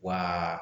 Wa